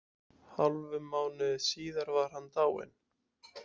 Hálfum mánuði síðar var hann dáinn.